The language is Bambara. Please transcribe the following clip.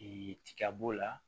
tiga b'o la